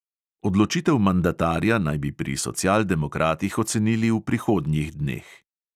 Odločitev mandatarja naj bi pri socialdemokratih ocenili v prihodnjih dneh.